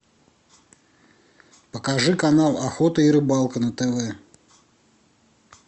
покажи канал охота и рыбалка на тв